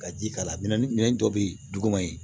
Ka ji k'a la minɛn minɛn dɔ bɛ ye duguma ye